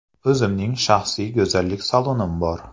O‘zimning shaxsiy go‘zallik salonim bor.